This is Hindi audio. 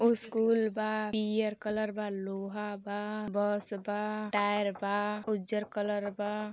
ओ स्कूल बा पियर कलर बा लोहा बा बस बा टायर बा उजर कलर बा।